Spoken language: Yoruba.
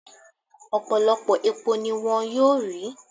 Ọ̀pọ̀lọpọ̀ epo ni wón yóò rí